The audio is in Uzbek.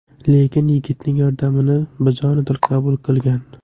Lekin yigitning yordamini bajonidil qabul qilgan.